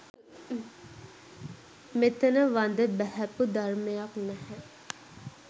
මෙතන වඳ බැහැපු ධර්මයක් නැහැ